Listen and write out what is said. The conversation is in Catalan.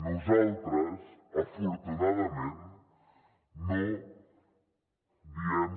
nosaltres afortunadament no diem